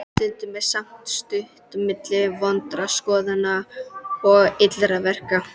Stundum er samt stutt milli vondra skoðana og illra verka.